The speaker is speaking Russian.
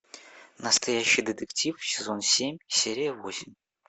настоящий детектив сезон семь серия восемь